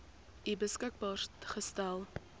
u beskikbaar gestel